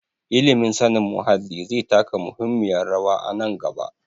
Ilimin sanin muhalli zai taka muhimmiyar rawa a nan gaba.